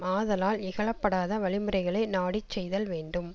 ஆதலால் இகழப்படாத வழிமுறைகளை நாடி செய்தல் வேண்டும்